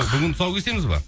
бүгін тұсау кесеміз бе